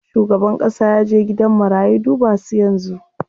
Shugaban ƙasa yaje gidan marayu duba su yanzu.